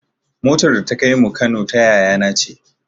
Motar da ta kaimu Kano ta yaya na ce